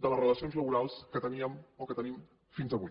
de les relacions laborals que teníem o que tenim fins avui